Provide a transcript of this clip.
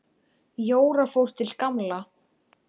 Jóra fór til Gamla.